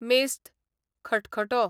मेस्त, खटखटो